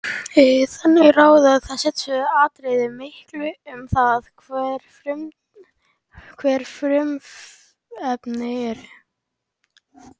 Þannig ráða þessi tvö atriði miklu um það, hver frumefnin eru.